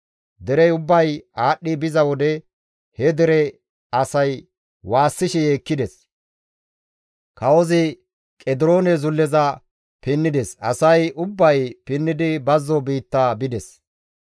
Derey ubbay aadhdhi biza wode he dere asay waassishe yeekkides; kawozi Qediroone zulleza pinnides; asay ubbay pinnidi bazzo biitta bides.